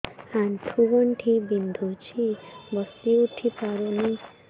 ଆଣ୍ଠୁ ଗଣ୍ଠି ବିନ୍ଧୁଛି ବସିଉଠି ପାରୁନି